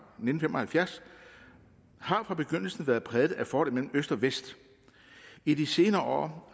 nitten fem og halvfjerds har fra begyndelsen været præget af forholdet mellem øst og vest i de senere